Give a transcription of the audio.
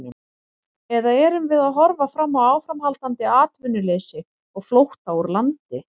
Eða erum við að horfa fram á áframhaldandi atvinnuleysi og flótta úr landi?